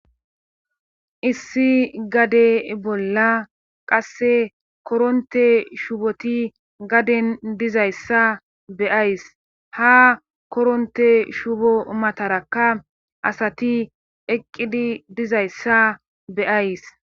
Issi gade bolla qasse koronte shuboti gaden dizayssa beyays ha koronte shubo matarakka asati eqqidi dizayssa beyays.